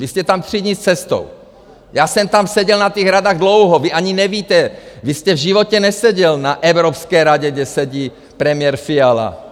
Byl jste tam tři dni s cestou, já jsem tam seděl na těch radách dlouho, vy ani nevíte, vy jste v životě neseděl na Evropské radě, kde sedí premiér Fiala.